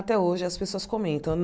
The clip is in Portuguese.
Até hoje as pessoas comentam.